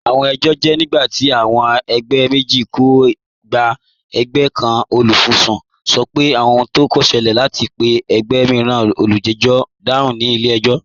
Awọn ẹjọ jẹ nigbati awọn ẹgbẹ meji kò gbà. Ẹ̀gbẹ̀ kan, olufisun, sọ̀ pẹ̀ ohun kan ṣẹlẹ̀, àti pe ẹ̀gbẹ̀ miiran, olùjẹ̀jọ̀, dáhùn ni ilẹ̀-ẹjọ̀."